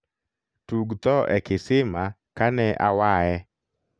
tug tho e kisima ka ne awaye